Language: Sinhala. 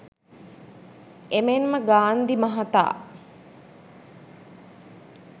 එමෙන්ම ගාන්ධි මහතා